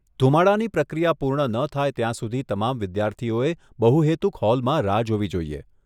ધૂમાડાની પ્રક્રિયા પૂર્ણ ન થાય ત્યાં સુધી તમામ વિદ્યાર્થીઓએ બહુહેતુક હોલમાં રાહ જોવી જોઈએ.